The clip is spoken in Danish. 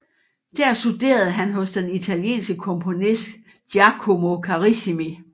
Der studerede han hos den italienske komponist Giacomo Carissimi